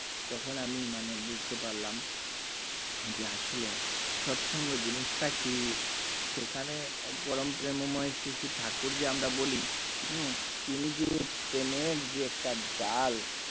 তখন আমি মানে বুঝতে পারলাম যে আসলে সৎ সঙ্গ জিনিসটা কি সেখানে পরম প্রেমময় শ্রী শ্রী ঠাকুর যে আমরা বলি উম যে প্রেমের যে একটা জাল